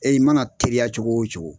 i mana teriya cogo o cogo